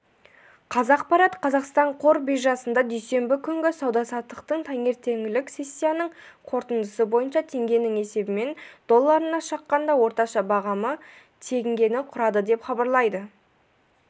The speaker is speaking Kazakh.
қазақпарат қазақстан қор биржасында дүйсенбі күнгі сауда-саттықтың таңертеңгілік сессиясының қорытындысы бойынша теңгенің есебімен долларына шаққандағы орташа бағамы теңгені құрады деп хабарлайды